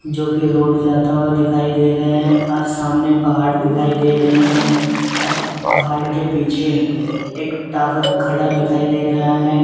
जोकि रोड जाता हुआ दिखाई दे रहे है आज सामने पहाड़ दिखाई दे रहे हैं पहाड़ के पीछे एक टावर खड़ा दिखाई दे रहा है।